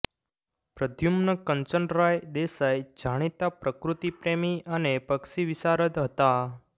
પ્રદ્યુમ્ન કંચનરાય દેસાઈ જાણીતા પ્રકૃતિપ્રેમી અને પક્ષી વિશારદ હતા